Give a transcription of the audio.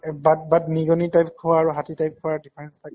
but but নিগনি type খোৱা আৰু হাতী type খোৱাৰ difference থাকে।